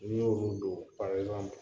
N'i y'olu don